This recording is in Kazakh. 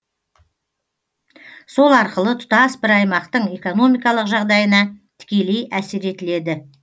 сол арқылы тұтас бір аймақтың экономикалық жағдайына тікелей әсер етіледі